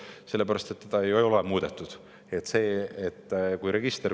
Seda ei ole muudetud!